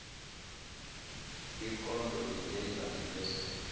ikondlo engenzasi bese